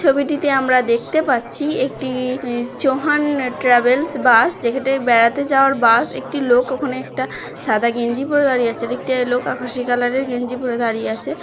ছবিটিতে আমরা দেখতে পাচ্ছি একটি চৌহান ট্রাভেলস বাস যেখানে বেড়াতে যাওয়ার বাস একটি লোক ওখানে একটা সাদা গেঞ্জি পড়ে দাঁড়িয়ে আছে দেখতে এলো আকাশে কালারের গেঞ্জি পড়ে দাঁড়িয়ে আছে |